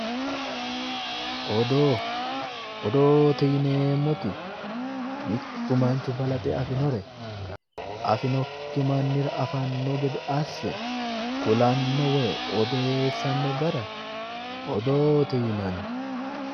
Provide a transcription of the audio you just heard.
Odoo, odoote yineemmoti mittu manchi balaxe afi'nore afinokki mannira afanno gede asse kulanno woy odeessanno gara odoote yinanni.